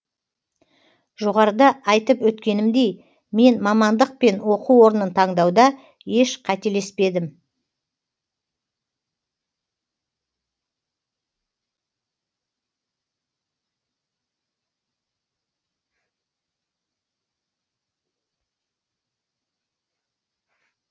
жоғарыда айтып өткенімдей мен мамандық пен оқу орнын таңдауда еш қателеспедім